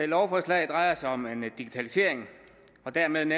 lovforslag drejer sig om en digitalisering af og dermed en